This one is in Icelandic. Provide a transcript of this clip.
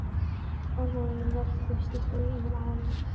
Orðin velktust uppi í munninum á honum.